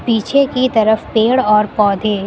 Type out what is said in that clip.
पीछे की तरफ पेड़ और पौधे--